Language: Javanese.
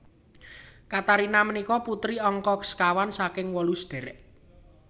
Katarina punika putri angka sekawan saking wolu sadhèrèk